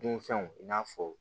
Dunfɛnw i n'a fɔ